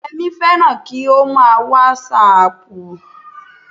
Yẹmí fẹ́ràn kí ó mà a wàsáàpù